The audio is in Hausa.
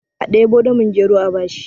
a debo damin gero a bashi!